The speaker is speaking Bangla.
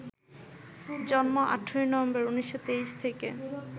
জন্ম ১৮ নভেম্বর, ১৯২৩ থেকে